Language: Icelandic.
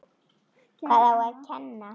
Hvað á að kenna?